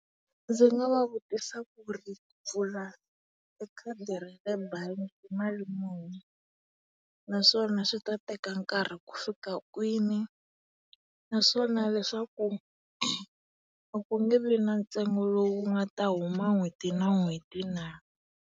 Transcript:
Ndzi nga va vutisa ku ri pfula e khadi ra le bangi i mali muni naswona swi ta teka nkarhi ku fika kwini, naswona leswaku a ku nge vi na ntsengo lowu wu ngata huma n'hweti na n'hweti na.